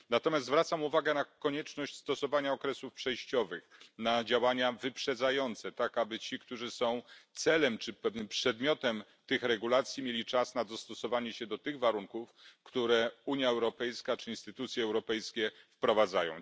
Natomiast zwracam uwagę na konieczność stosowania okresów przejściowych, na działania wyprzedzające, tak aby ci, którzy są celem czy pewnym przedmiotem tych regulacji, mieli czas na dostosowanie się do tych warunków, które Unia Europejska czy instytucje europejskie wprowadzają.